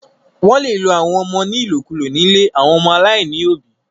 Wó̩n le lo àwọn ọmọ ní ìlòkulò nílé àwọn ọmọ aláìníòbí